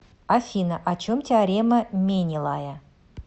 афина о чем теорема менелая